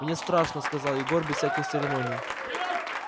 мне страшно сказал егор без всяких церемоний